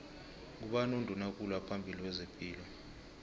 ngubani unduna kulu waphambili wezepilo